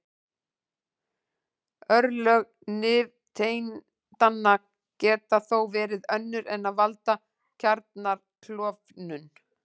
Örlög nifteindanna geta þó verið önnur en að valda kjarnaklofnun.